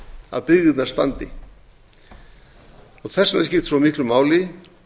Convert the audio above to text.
að byggðirnar standi þess vegna skiptir svo miklu máli